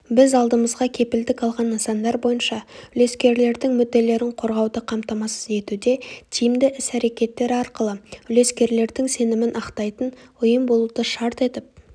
біз алдымызға кепілдік алған нысандар бойынша үлескерлердің мүдделерін қорғауды қамтамасыз етуде тиімді іс-әрекеттер арқылы үлескерлердің сенімін ақтайтын ұйым болуды шарт етіп